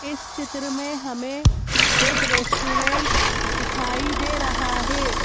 इस चित्र में हमें एक रेस्टोरेंट दिखाई दे रहा है।